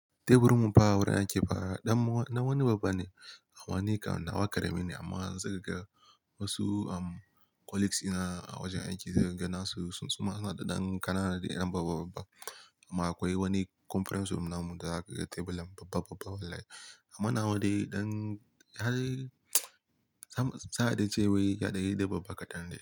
Teburin mu ba wurin aiki fa, ɗan wani babba ne amma ni kam nawa karami ne amma za ka ga wasu colleagues ina a wajen aiki zai ganasu su suma suna da ɗan ƙanana da yana babba babba amma akwai wani conference room namu da za ka ga teburin babba babba wallahi. Amma na wadai ɗan har sai za a ce wai ya danyi babba kaɗan ne.